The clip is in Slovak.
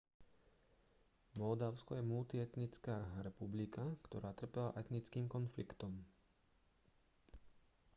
moldavsko je multietnická republika ktorá trpela etnickým konfliktom